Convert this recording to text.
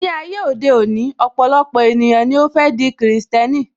Ní ayé òde òní, ọpọlọpọ ènìyàn ni ó fẹ́ di krìstẹ́nì